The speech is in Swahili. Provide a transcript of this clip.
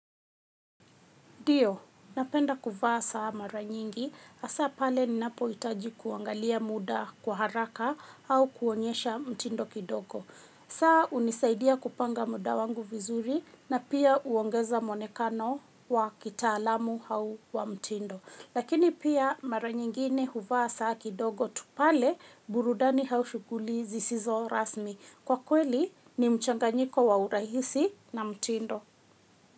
Ndio, napenda kuvaa saa mara nyingi, hasa pale ninapohitaji kuangalia muda kwa haraka au kuonyesha mtindo kidogo. Saa hunisaidia kupanga muda wangu vizuri na pia huongeza mwonekano wa kitaalamu au wa mtindo. Lakini pia mara nyingine huvaa saa kidogo tu pale burudani au shughuli zisizo rasmi. Kwa kweli ni mchanganyiko wa urahisi na mtindo.